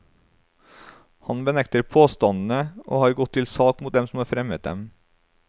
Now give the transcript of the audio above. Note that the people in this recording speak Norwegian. Han benekter påstandene, og har gått til sak mot dem som har fremmet dem.